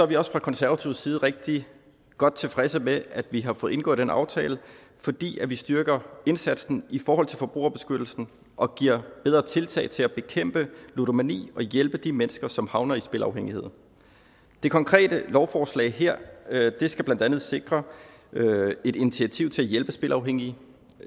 vi også fra konservativ side rigtig godt tilfredse med at vi har fået indgået den aftale fordi vi styrker indsatsen i forhold til forbrugerbeskyttelsen og giver bedre tiltag til at bekæmpe ludomani og hjælpe de mennesker som havner i spilafhængighed det konkrete lovforslag her skal blandt andet sikre et initiativ til at hjælpe spilafhængige